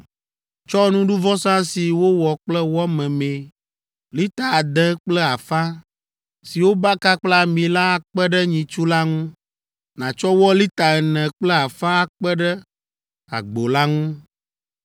Tsɔ nuɖuvɔsa si wowɔ kple wɔ memee lita ade kple afã si wobaka kple ami la akpe ɖe nyitsu la ŋu, nàtsɔ wɔ lita ene kple afã akpe ɖe agbo la ŋu,